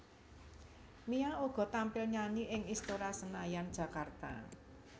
Mia uga tampil nyanyi ing Istora Senayan Jakarta